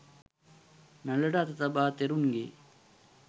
නළලට අත තබා තෙරුන්ගේ